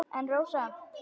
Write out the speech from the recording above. En Rósa?